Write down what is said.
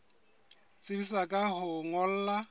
tsebisa ka ho o ngolla